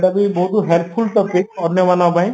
ଏଇଟାବି ବହୁତ helpful topic ଅନ୍ୟମାନଙ୍କ ପାଇଁ